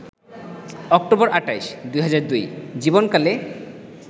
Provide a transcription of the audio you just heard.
October ২৮, ২০০২ জীবন কালে